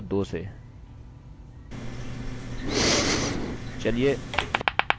चलिए नम्बर्सnumbers बोल कर शुरु करते हैं